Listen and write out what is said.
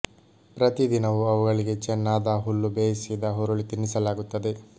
ಪ್ರತಿ ದಿನವೂ ಅವುಗಳಿಗೆ ಚೆನ್ನಾದ ಹುಲ್ಲು ಬೇಯಿಸಿದ ಹುರುಳಿ ತಿನ್ನಿಸಲಾಗುತ್ತದೆ